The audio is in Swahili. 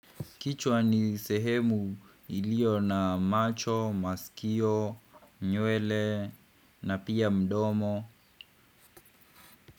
Kichwa ni sehemu iliyo na macho, masikio, nywele na pia mdomo.